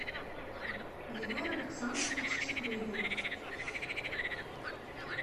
егор александрович чекрыгин